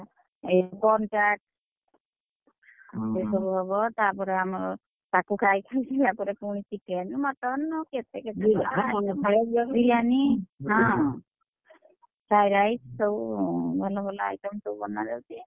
ଏ corn chat ସେ ସବୁ ହବ ତାପରେ ଆମର, ତାକୁ ଖାଇକି ତାପରେ ପୁଣି chicken mutton ଆଉ କେତେ କେତେ ହଁ, fry rice ସବୁ ଭଲ ଭଲ item ସବୁ ~ବନା